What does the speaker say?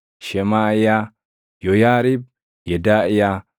Shemaaʼiyaa, Yooyaariib, Yedaaʼiyaa,